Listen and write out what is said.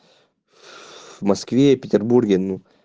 в москве и петербурге ну